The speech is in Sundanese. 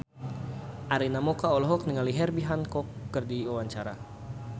Arina Mocca olohok ningali Herbie Hancock keur diwawancara